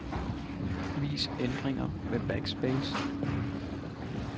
Vis ændringer med backspace.